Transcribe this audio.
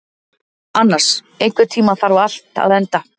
Annas, einhvern tímann þarf allt að taka enda.